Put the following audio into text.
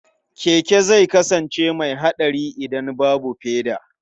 Keke zai kasance mai haɗari idan babu feda.